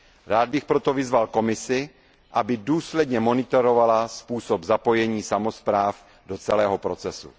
Rád bych proto vyzval Komisi, aby důsledně monitorovala způsob zapojení samospráv do celého procesu.